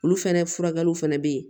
Olu fɛnɛ furakɛliw fɛnɛ be yen